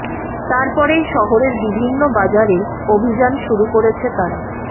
তার পরেই শহরের বিভিন্ন বাজারে অভিযান শুরু করেছে তারা